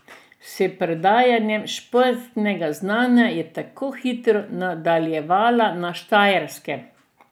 S predajanjem športnega znanja je tako hitro nadaljevala na Štajerskem.